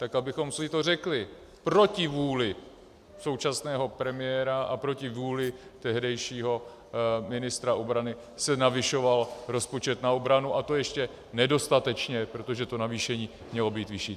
Tak abychom si to řekli - proti vůli současného premiéra a proti vůli tehdejšího ministra obrany se navyšoval rozpočet na obranu, a to ještě nedostatečně, protože to navýšení mělo být vyšší.